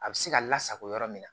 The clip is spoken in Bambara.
A bɛ se ka lasago yɔrɔ min na